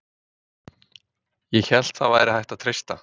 ÉG HÉLT AÐ ÞAÐ VÆRI HÆGT AÐ TREYSTA